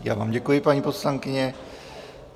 Já vám děkuji, paní poslankyně.